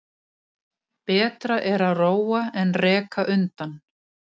Betra er að róa en reka undan.